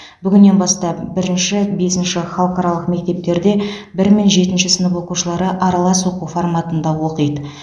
бүгіннен бастап бірінші бесінші халықаралық мектептерде бір мен жетінші сынып оқушылары аралас оқу форматында оқиды